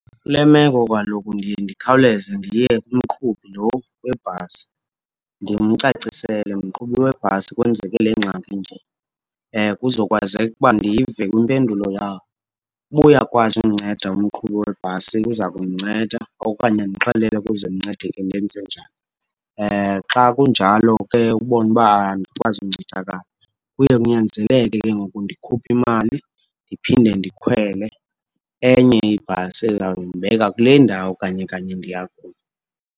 Kule meko kaloku ndiye ndikhawuleze ndiye kumqhubi lo webhasi. Ndimcacisele, mqhubi webhasi, kwenzeke le ngxaki inje, kuzokwazeka uba ndive kwimpendulo yakhe. Uba uyakwazi undinceda umqhubi webhasi uza kundinceda okanye andixelele ukuze ndincedeke ndenze njani. Xa kunjalo ke ubone uba andikwazi uncedakala, kuye kunyanzeleke ke ngoku ndikhuphe imali ndiphinde ndikhwele enye ibhasi ezawundibeka kule ndawo kanye kanye ndiya kuyo.